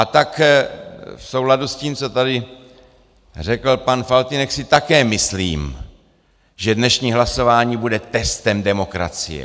A tak v souladu s tím, co tady řekl pan Faltýnek, si také myslím, že dnešní hlasování bude testem demokracie.